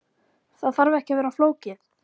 Það þarf ekki að vera flókið.